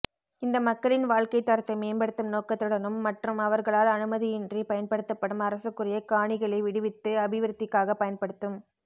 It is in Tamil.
இந்த மக்களின் வாழ்க்கைத் தரத்தை மேம்படுத்தும் நோக்கத்துடனும் மற்றும் அவர்களால் அனுமதியின்றி பயன்படுத்தப்படும் அரசுக்குரிய காணிகளை விடுவித்து அபிவிருத்திக்காக பயன்படுத்தும்